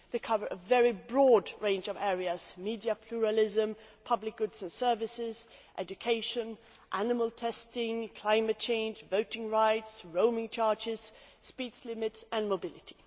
they cover a very broad range of areas media pluralism, public goods and services, education, animal testing, climate change, voting rights, roaming charges, speed limits and mobility.